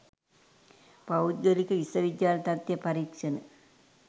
පෞද්ගලික විශ්ව විද්‍යාල තත්ත්ව පරීක්ෂණ